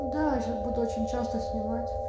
да сейчас буду очень часто снимать